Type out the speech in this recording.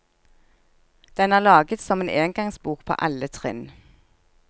Den er laget som engangsbok på alle trinn.